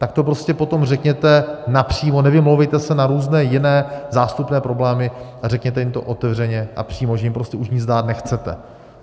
Tak to prostě potom řekněte napřímo, nevymlouvejte se na různé jiné zástupné problémy a řekněte jim to otevřeně a přímo, že jim prostě už nic dát nechcete.